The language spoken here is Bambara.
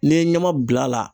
N'i ye ɲama bil' a la.